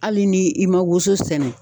Hali ni i ma woso sɛnɛ.